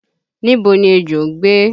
Níbo ni ejò ń gbé?